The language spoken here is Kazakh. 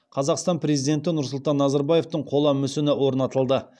қазақстан президенті нұрсұлтан назарбаевтың қола мүсіні орнатылды